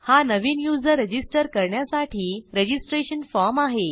हा नवीन user register करण्यासाठी रजिस्ट्रेशन फॉर्म आहे